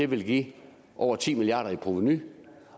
vil give over ti milliard kroner i provenu